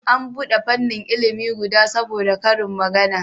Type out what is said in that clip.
An bude fannin ilimi guda saboda karin magana